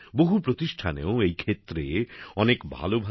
বহু প্রতিষ্ঠানেও এই ক্ষেত্রে অনেক ভালভাল